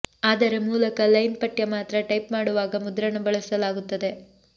ಆದರೆ ಮೂಲಕ ಲೈನ್ ಪಠ್ಯ ಮಾತ್ರ ಟೈಪ್ ಮಾಡುವಾಗ ಮುದ್ರಣ ಬಳಸಲಾಗುತ್ತದೆ